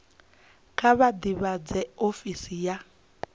kha vha ḓivhadze ofisi ya